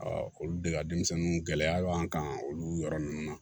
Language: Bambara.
olu de ka denmisɛnninw gɛlɛya b'an kan olu yɔrɔ ninnu na